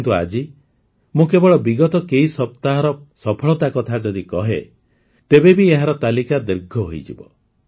କିନ୍ତୁ ଆଜି ମୁଁ କେବଳ ବିଗତ କେଇ ସପ୍ତାହର ସଫଳତାର କଥା ଯଦି କହେ ତେବେ ବି ଏହାର ତାଲିକା ଦୀର୍ଘ ହୋଇଯିବ